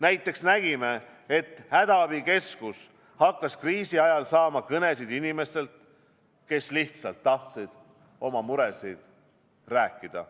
Näiteks nägime, et hädaabikeskus hakkas kriisi ajal saama kõnesid inimestelt, kes lihtsalt tahtsid oma muredest rääkida.